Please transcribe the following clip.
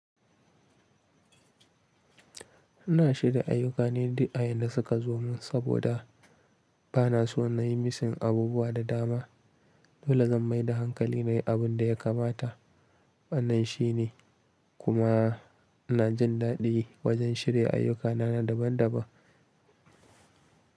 Ina shirya ayyukan ne du a yadda suka zo mun saboda ba na so na yi misin abubuwa da dama. Dole zan mai da hankali na yi abun da ya kamata. Wannan shine kuma ina jin daɗi wajen shirya ayyuka na daban daban.